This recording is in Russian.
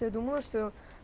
ты думала что